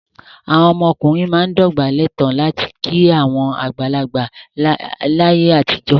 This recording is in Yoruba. Àwọn ọkùnrin máa ń dọ̀bálẹ̀ tán láti kí àwọn àgbàlagbà láyé àtijọ́.